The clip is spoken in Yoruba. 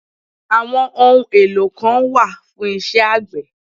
Àwọn ohun èlò kan wà fún isẹ́ àgbẹ̀